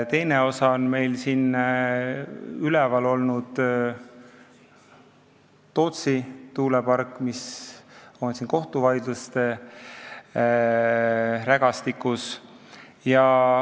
Teise osana on üleval olnud Tootsi tuulepark, mis on kohtuvaidluste rägastikus.